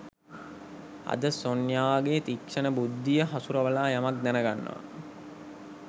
අදත් සොන්යාගේ තික්ෂණ බුද්ධිය හසුරවලා යමක් දැනගන්නවා